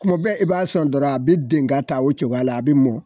Kuma bɛɛ i b'a son dɔrɔn, a be den ka taa o cogoya la, a bi mɔ